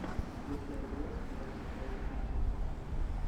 включай игру лестер против манчестер сити